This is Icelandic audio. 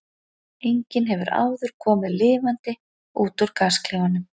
Enginn hefur áður komið lifandi út úr gasklefanum.